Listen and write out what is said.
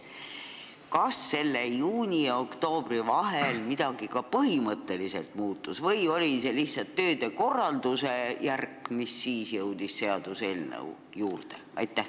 Kas juuni ja oktoobri vahel midagi ka põhimõtteliselt muutus või oli see lihtsalt tööde korralduse järk, mis siis jõudis seaduseelnõu juurde?